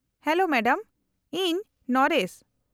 -Hello madam. ᱤᱧ nurse.